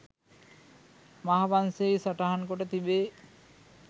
මහාවංශයෙහි සටහන්කොට තිබේ.